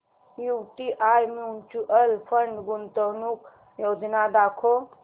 UTI mutual fund गुंतवणूक योजना दाखव